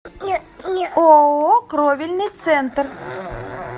ооо кровельный центр